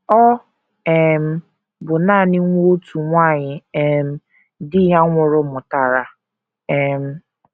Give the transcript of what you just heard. Ọ um bụ nanị nwa otu nwanyị um di ya nwụrụ mụtara um.